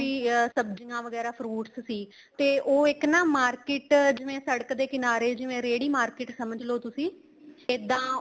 ਅਹ ਸਬਜੀਆਂ ਵਗੈਰਾ fruits ਸੀ ਤੇ ਉਹ ਇੱਕ ਨਾ market ਜਿਵੇਂ ਸੜਕ ਦੇ ਕਿਨਾਰੇ ਜਿਵੇਂ ਰੇਹੜੀ market ਸਮਝ ਲੋ ਤੁਸੀਂ ਇੱਦਾਂ